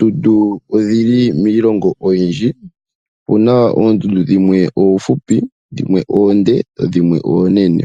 Oondundu odhili miilongo oyindji. Opuna oondundu dhimwe oofupi dhimwe oonde dhimwe oonene.